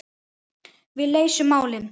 Við leysum málin.